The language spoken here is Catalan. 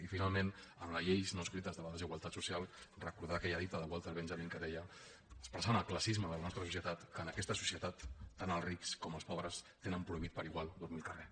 i finalment en les lleis no escrites de la desigualtat social recordar aquella dita de walter benjamin que deia expressant el classisme de la nostra societat que en aquesta societat tant els rics com els pobres tenen prohibit per igual dormir al carrer